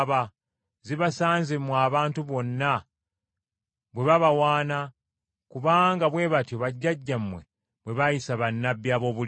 Zibasanze mmwe abantu bonna bwe babawaana, kubanga bwe batyo bajjajjammwe bwe baayisa bannabbi aboobulimba.”